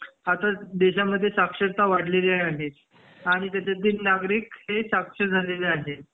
आता देशात साक्षरता वाढलेली आहे आणि त्याच्यातील नागरिक हे साक्षर झालेले आहेत